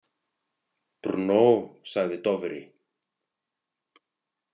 Brno, sagði Dofri.